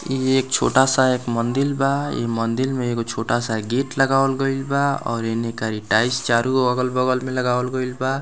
इ एक छोटा-सा एक मंदिर बा इ मंदिर में एगो छोटा-सा गेट लगावल गइल बा और एने कारी टाइल्स चारू अलग बगल मे लगावल गइल बा।